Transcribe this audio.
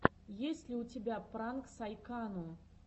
есть ли у тебя пранк сайкану